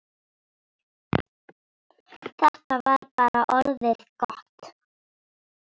Þetta var bara orðið gott.